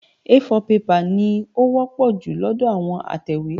A4 pẹ́pà ni ó wọ́pọ̀ jù lọ́dọ̀ àwọn atẹ̀wé.